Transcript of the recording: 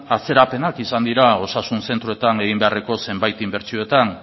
atzerapenak izan dira osasun zentroetan egin beharreko zenbait inbertsiotan